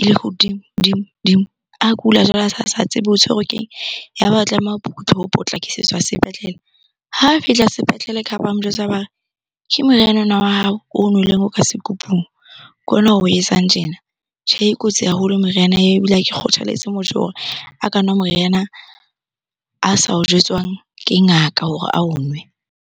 ele hodimo, dimo, dimo. A kula jwale a se a sa tsebe o tshwerwe ke eng? Ya ba o tlameha ho potlakisetswa sepetlele. Ha fihla sepetlele kha ba mo jwetsa ba re, ke moriana ona wa hao o nweleng o ka sekupung. Ke ona oo etsang tjena. Tjhe, e kotsi haholo meriana eo ebile ha ke kgothaletse motho hore a ka nwa moriana a sa o jwetswang ke ngaka hore ao nwe.